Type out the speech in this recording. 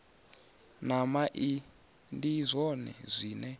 na mai ndi zwone zwine